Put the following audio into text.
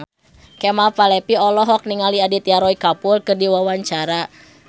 Kemal Palevi olohok ningali Aditya Roy Kapoor keur diwawancara